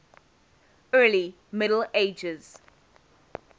early middle ages